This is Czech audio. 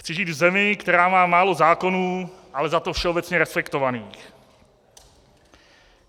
Chci žít v zemi, která má málo zákonů, ale za to všeobecně respektovaných.